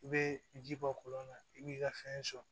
I bɛ ji bɔ kɔlɔn na i b'i ka fɛn sɔn